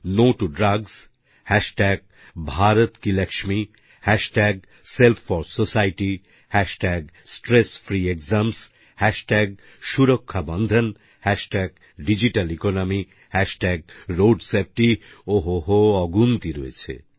no to drugs ভারতকিলক্ষ্মী Self4Society স্ট্রেসফ্রিক্সামসহ সুরক্ষাবন্ধন ডিজিটালেকোনমি রোডসেফটি ও হো হো অগুন্তি রয়েছে